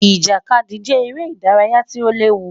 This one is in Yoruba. Ijakadi jẹ ere idaraya ti o lewu